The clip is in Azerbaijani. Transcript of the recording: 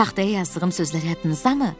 Taxtaya yazdığım sözlər yadınızdamı?